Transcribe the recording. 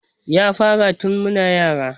Ya fara tun muna yara